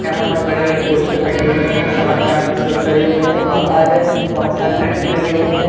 यहां पर बड़े बड़े पोस्टर लगे हुए हैं और साथ में यहां कुछ लोग खड़े हुए है बाहर बहोत सारी लाइटे लगी हुई है।